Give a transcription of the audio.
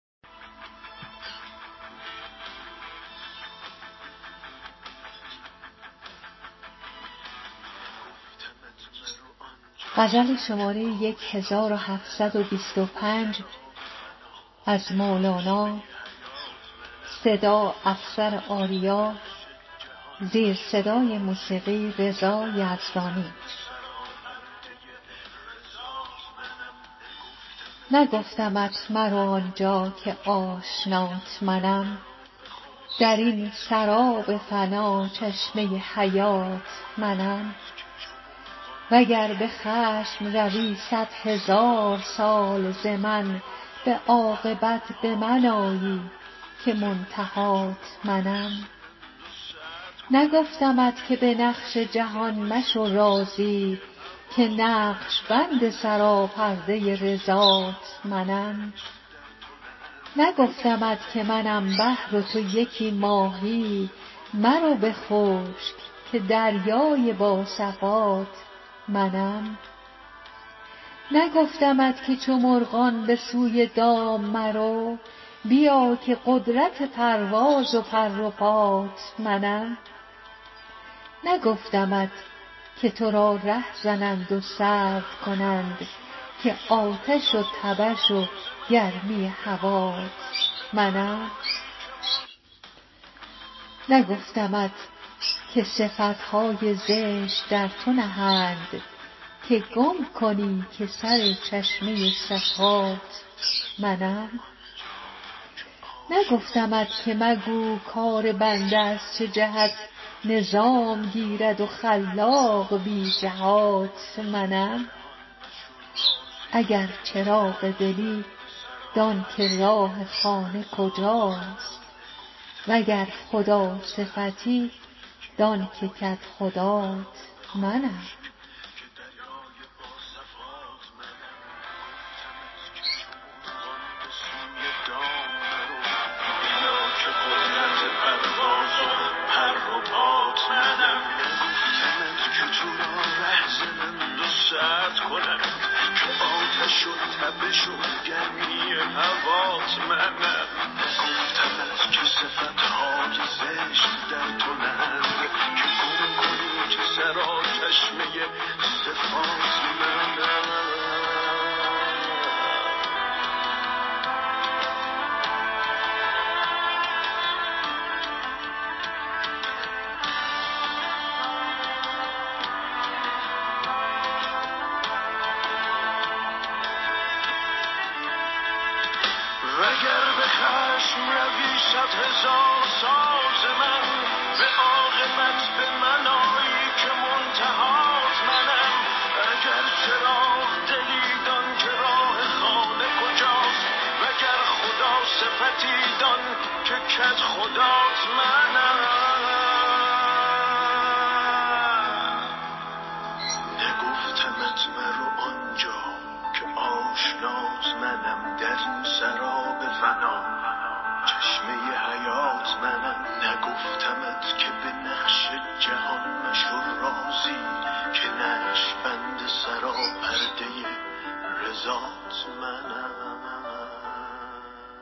نگفتمت مرو آنجا که آشنات منم در این سراب فنا چشمه حیات منم وگر به خشم روی صدهزار سال ز من به عاقبت به من آیی که منتهات منم نگفتمت که به نقش جهان مشو راضی که نقش بند سراپرده رضات منم نگفتمت که منم بحر و تو یکی ماهی مرو به خشک که دریای با صفات منم نگفتمت که چو مرغان به سوی دام مرو بیا که قدرت پرواز و پر و پات منم نگفتمت که تو را ره زنند و سرد کنند که آتش و تبش و گرمی هوات منم نگفتمت که صفت های زشت در تو نهند که گم کنی که سر چشمه صفات منم نگفتمت که مگو کار بنده از چه جهت نظام گیرد خلاق بی جهات منم اگر چراغ دلی دان که راه خانه کجاست وگر خداصفتی دان که کدخدات منم